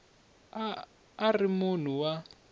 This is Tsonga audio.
a a ri munhu wa